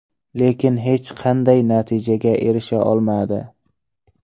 Lekin hech qanday natijaga erisha olmadi.